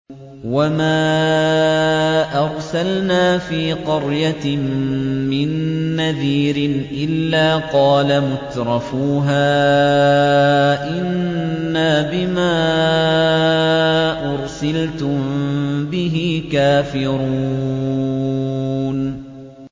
وَمَا أَرْسَلْنَا فِي قَرْيَةٍ مِّن نَّذِيرٍ إِلَّا قَالَ مُتْرَفُوهَا إِنَّا بِمَا أُرْسِلْتُم بِهِ كَافِرُونَ